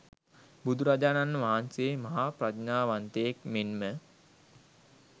බුදුරජාණන් වහන්සේ මහා ප්‍රඥාවන්තයෙක් මෙන්ම